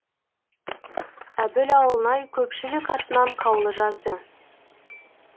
әбіл ауылнай көпшілік атынан қаулы жазды